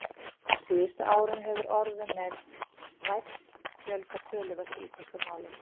Á síðustu árum hefur orðum með- vænn fjölgað töluvert í íslensku máli.